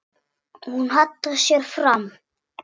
Hún hallar sér fram.